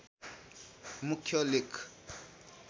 मुख्य लेख